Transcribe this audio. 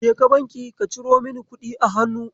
Jeka banki ka ciro mini kuɗi a hannu.